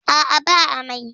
A'a ba amai.